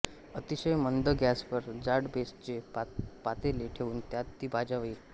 अतिशय मंद गॅसवर जाड बेसचे पातेले ठेऊन त्यात ती भाजावी